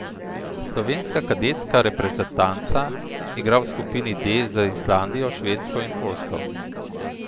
Slovenska kadetska reprezentanca igra v skupini D z Islandijo, Švedsko in Poljsko.